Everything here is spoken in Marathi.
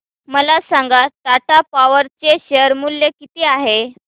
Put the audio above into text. मला सांगा टाटा पॉवर चे शेअर मूल्य किती आहे